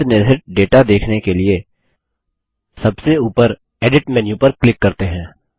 अंतनिर्हित data देखने के लिए सबसे ऊपर एडिट मेन्यू पर क्लिक करते हैं